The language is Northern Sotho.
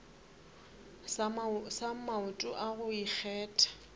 sa maoto a go ikgetha